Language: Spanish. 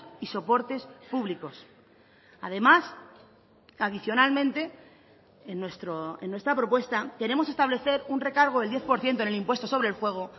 y soportes públicos además adicionalmente en nuestra propuesta queremos establecer un recargo del diez por ciento en el impuesto sobre el juego